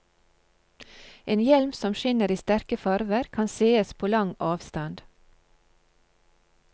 En hjelm som skinner i sterke farver, kan sees på lang avstand.